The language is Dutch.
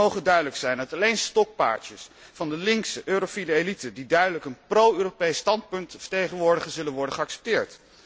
Het moge duidelijk zijn dat alleen stokpaardjes van de linkse eurofiele elite die duidelijk een pro Europees standpunt vertegenwoordigt, zullen worden geaccepteerd.